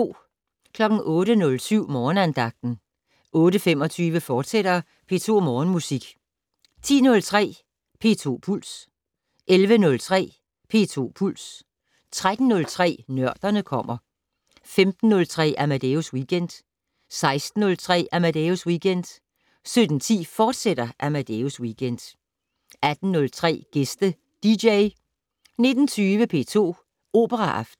08:07: Morgenandagten 08:25: P2 Morgenmusik, fortsat 10:03: P2 Puls 11:03: P2 Puls 13:03: Nørderne kommer 15:03: Amadeus Weekend 16:03: Amadeus Weekend 17:10: Amadeus Weekend, fortsat 18:03: Gæste dj 19:20: P2 Operaaften